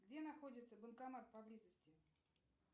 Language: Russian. где находится банкомат поблизости